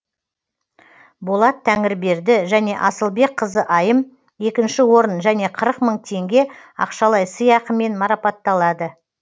болат тәңірберді және асылбекқызы айым екінші орын және қырық мың тенге ақшалай сыйақымен марапатталады